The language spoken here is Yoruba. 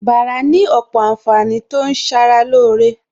Bàrà ní òpò ànfàní tó ń ṣara lóore